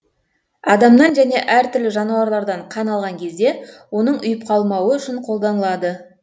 адамнан және әр түрлі жануарлардан қан алған кезде оның ұйып қалмауы үшін қолданылады